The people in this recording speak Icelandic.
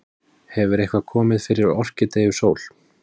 Hefur eitthvað komið fyrir Orkídeu Sól?